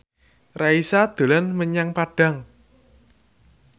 Raisa dolan menyang Padang